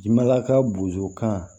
Jimala ka bozokan